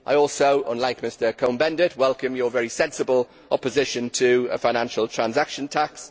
I also, unlike Mr Cohn Bendit, welcome your very sensible opposition to a Financial Transaction Tax.